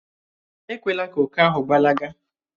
Èkwelà kà òkè ahụ gbalaga